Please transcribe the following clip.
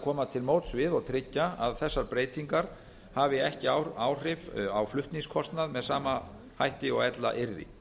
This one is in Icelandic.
koma til móts við og tryggja að þessar breytingar hafi ekki áhrif á flutningskostnað með sama hætti og ella yrði